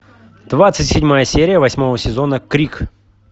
двадцать седьмая серия восьмого сезона крик